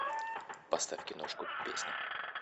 поставь киношку песня